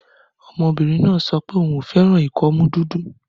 Ọmọbìnrin náà sọ pé òun kò fẹ́ràn ìkọ́mú dúdú.